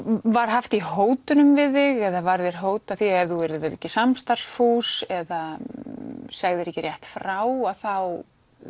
var haft í hótunum við þig eða var þér hótað að ef þú yrðir ekki samstarfsfús eða segðir ekki rétt frá að þá